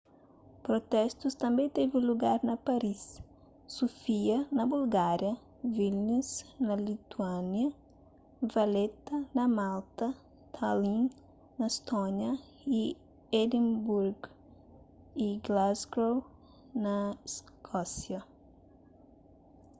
protestus tanbê tevi lugar na paris sofia na bulgária vilnius na lituânia valetta na malta tallinn na estónia y edimburgu y glasgow na iskósia